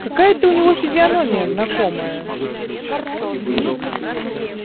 какая-то у него физиономия знакомая